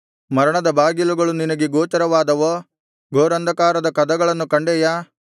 ಮರಣದ ಬಾಗಿಲುಗಳು ನಿನಗೆ ಗೋಚರವಾದವೋ ಘೋರಾಂಧಕಾರದ ಕದಗಳನ್ನು ಕಂಡೆಯಾ